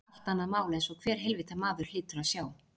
Það er allt annað mál einsog hver heilvita maður hlýtur að sjá.